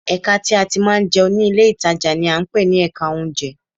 Ẹ̀ka tí a ti máa ń jẹun ní ilé ìtajà ni à ń pè ní Ẹ̀ka oúnjẹ